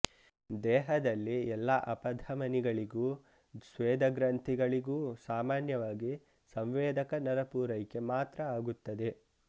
ದೇಹದಲ್ಲಿ ಎಲ್ಲ ಅಪಧಮನಿಗಳಿಗೂ ಸ್ವೇದಗ್ರಂಥಿಗಳಿಗೂ ಸಾಮಾನ್ಯವಾಗಿ ಸಂವೇದಕ ನರಪೂರೈಕೆ ಮಾತ್ರ ಆಗುತ್ತದೆ